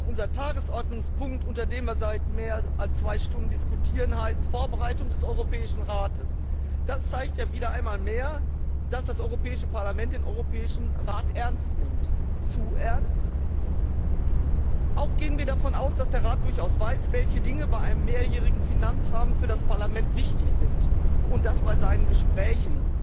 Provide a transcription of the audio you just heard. Herr Präsident, liebe Kolleginnen und Kollegen! Unser Tagesordnungspunkt, unter dem wir seit mehr als zwei Stunden diskutieren, heißt Vorbereitung des Europäischen Rates. Das zeigt ja wieder einmal mehr, dass das Europäische Parlament den Europäischen Rat ernst nimmt. Zu ernst? Auch gehen wir davon aus, dass der Rat durchaus weiß, welche Dinge bei einem mehrjährigen Finanzrahmen für das Parlament wichtig sind, und das bei seinen Gesprächen